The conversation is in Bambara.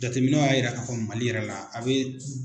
Jateminɛw y'a yira ka fɔ MALI yɛrɛ la a bɛ.